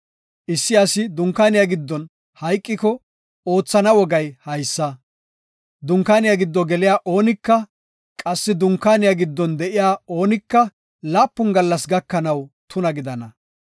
“Issi asi dunkaaniya giddon hayqiko oothana wogay haysa; unkaaniya giddo geliya oonika, qassi dunkaaniya giddon de7iya oonika laapun gallas gakanaw tuna gidana.